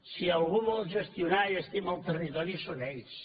si algú vol gestionar i estima el territori són ells